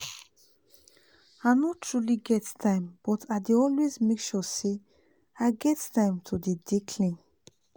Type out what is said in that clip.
i no truly get time but i dey always make sure say i get time to dey dey clean